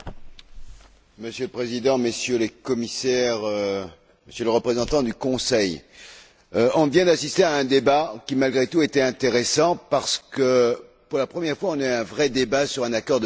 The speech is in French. Monsieur le Président, Messieurs les Commissaires, Monsieur le représentant du Conseil, nous venons d'assister à un débat qui, malgré tout, était intéressant parce que, pour la première fois, nous avons tenu un vrai débat sur un accord de libre échange.